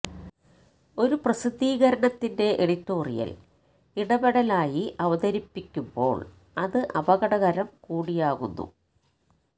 ഒരു പ്രസിദ്ധീകരണത്തിന്റെ എഡിറ്റോറിയൽ ഇടപെടലായി അവതരിപ്പിക്കുമ്പോൾ അത് അപകടകരം കൂടിയാകുന്നു